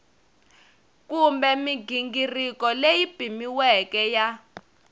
kumbe mighingiriko leyi pimiweke ya